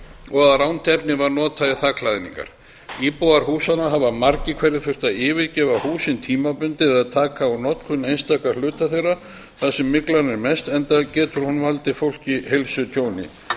og að rangt efni var notað í þakklæðningar íbúar húsanna hafa margir hverjir þurft að yfirgefa húsin tímabundið eða taka úr notkun einstaka hluta þeirra þar sem myglan er mest enda getur hún valdið fólki heilsutjóni